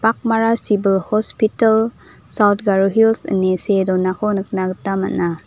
akmara sibil hospital saut garo hils ine see donako nikna gita man·a.